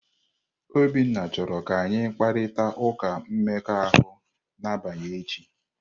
Obinna chọrọ ka anyị kparịta ụka mmekọahụ n'abalị echi.